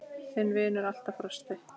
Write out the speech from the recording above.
Þinn vinnur alltaf, Frosti.